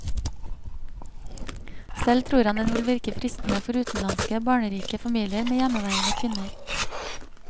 Selv tror han den vil virke fristende for utenlandske, barnerike familier med hjemmeværende kvinner.